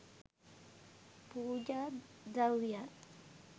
පූජා ද්‍රව්‍යයන්